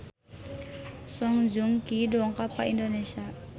Song Joong Ki dongkap ka Indonesia